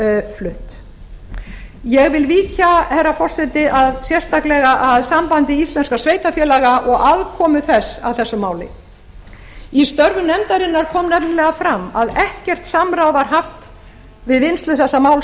flutt ég vil víkja herra forseti sérstaklega að sambandi íslenskra sveitarfélaga og aðkomu þess að þessu máli í störfum nefndarinnar kom nefnilega fram að ekkert samráð var haft við vinnslu þessa máls